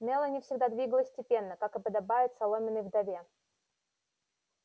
мелани всегда двигалась степенно как и подобает соломенной вдове